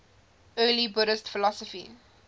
early buddhist philosophy